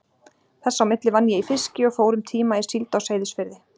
Þess á milli vann ég í fiski og fór um tíma í síld á Seyðisfirði.